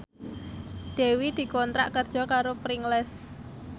Dewi dikontrak kerja karo Pringles